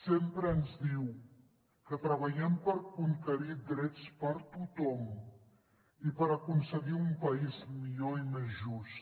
sempre ens diu que treballem per conquerir drets per a tothom i per aconseguir un país millor i més just